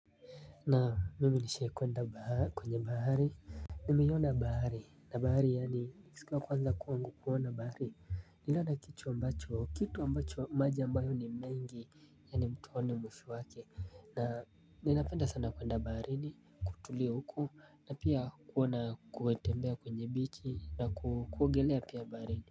Na mimi nishe kuenda kwenye bahari Nimeyona bahari na bahari yani nisiku ya kwanza kuona bahari nilana kicho ambacho kitu ambacho maji ambayo ni mengi ya ni mtu aoni mwisho wake na ninapenda sana kuenda bahari ni kutulia huko na pia kuona kuwetembea kwenye bichi na kuogelea pia bahari.